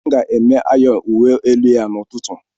M ga-eme ayọn uwe elu ya n'ụtụtụ.